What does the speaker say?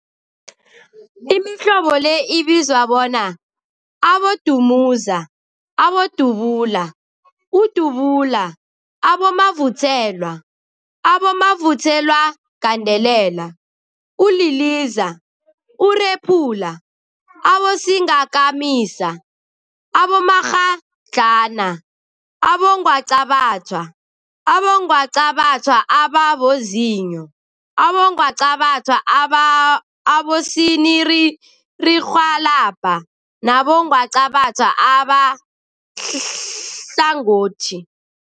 Imihlobo le ibizwa bona, Abodumuza, Abodubula, ububula, abomavuthelwa, abomavuthelwagandelela, uliliza, urephula, abosingakamisa, abomakghadlana, abongwaqabathwa, abongwaqabathwa ababozinyo, abongwaqabathwa abosininirhwalabha nabongwaqabatha abahlangothi.